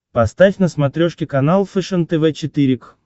поставь на смотрешке канал фэшен тв четыре к